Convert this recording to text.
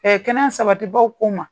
kɛnɛ sabatibaw ko n ma.